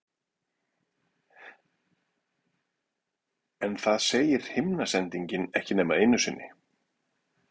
En það segir himnasendingin ekki nema einu sinni.